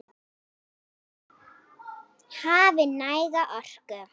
Hafi næga orku.